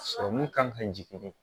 Sɔrɔmu kan ka jigin